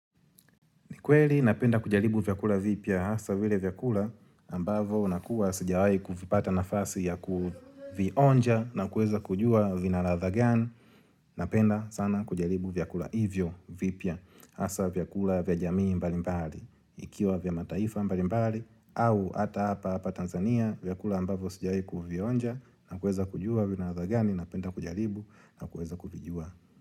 Nikweli napenda kujalibu vyakula vipya hasa vile vyakula ambavo nakuwa sijawai kuvipata nafasi ya kuvionja na kueza kujua vinaladha gani. Napenda sana kujalibu vyakula hivyo vipya hasa vyakula vya jamii mbalimbali. Ikiwa vya mataifa mbalimbali au ata hapa apa Tanzania vyakula ambavyo sijawai kuvionja na kueza kujua vina ladha gani na penda kujalibu na kueza kulijua.